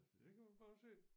Der kan man bare se